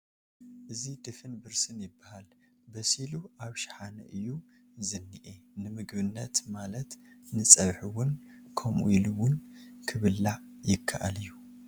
እዚ ድፍን ብርስን ይብሃል በሲሉ ኣብ ሽሓነ እዩ ዝንኤ ንምግብንት ማልት ንፀብሒ እዉን ከምኡ ኢሉ እዉን ክብላዕ ይከኣል ኣዩ ።